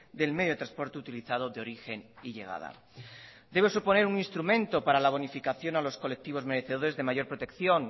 del medio de transporte utilizado de origen y llegada debe suponer un instrumento para la bonificación a los colectivos merecedores de mayor protección